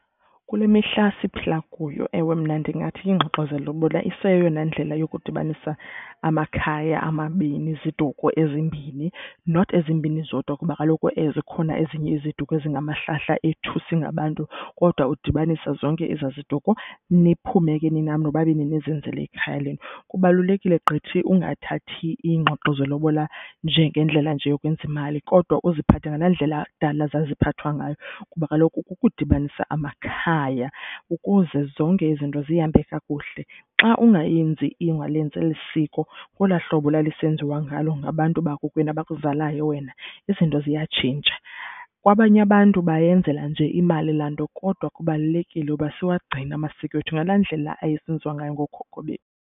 Kule mihla siphila kuyo, ewe mna ndingathi iingxoxo zelobola iseyeyona ndlela yokudibanisa amakhaya amabini, iziduko ezimbini. Not ezimbini zodwa kuba kaloku zikhona ezinye iziduko ezingamahlahla ethu singabantu kodwa udibanise zonke ezaa ziduko, niphume ke nina nobabini nizenzele ikhaya lenu. Kubalulekile gqithi ungathathi iingxoxo zelobola nje ngendlela nje yokwenza imali kodwa uziphathe ngalaa ndlela kudala zaziphathwa ngayo kuba kaloku kukudibanisa amakhaya ukuze zonke izinto zihambe kakuhle. Xa ungayenzi, ungalenzi eli siko ngolwaa hlobo lalisenziwa ngalo ngabantu bakokwenu abakuzalayo wena, izinto ziyatshintsha. Kwabanye abantu bayenzela nje imali laa nto kodwa kubalulekile uba siwagcine amasiko ethu ngalaa ndlela ayesenziwa ngayo ngookhokho bethu.